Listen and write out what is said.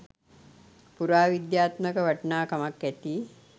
පුරාවිද්‍යාත්මක වටිනාකමක් ඇති